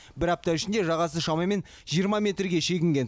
бір апта ішінде жағасы шамамен жиырма метрге шегінген